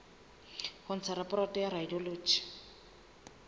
ho ntsha raporoto ya radiology